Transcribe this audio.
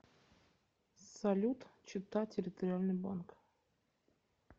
салют чита территориальный банк